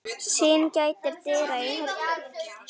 Syn gætir dyra í höllum